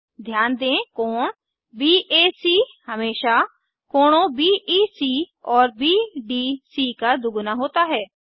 ध्यान दें कोण बैक हमेशा कोणों बीईसी और बीडीसी का दुगुना होता है